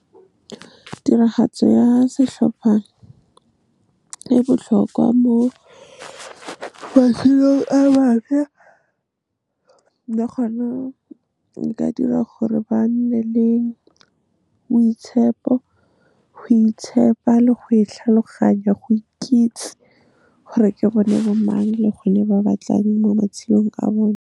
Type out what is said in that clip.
Tiragatso ya setlhopha e botlhokwa mo matshelong a bašwa, le gona e ka dira gore ba nne le boitshepo, go itshepa le go itlhaloganya, go ikitse gore ke bone bo mang le gore ba batlang mo matshelong a bone.